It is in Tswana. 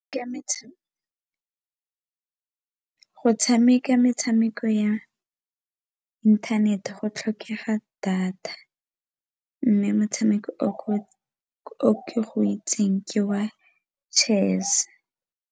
go tshameka metshameko ya inthanete go tlhokega data, mme motshameko o ke itseng ke wa chess.